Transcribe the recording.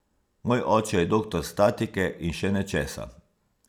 Moj oče je doktor statike in še nečesa.